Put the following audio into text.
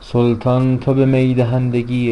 سلطان تو به می دهندگی